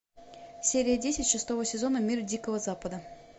серия десять шестого сезона мир дикого запада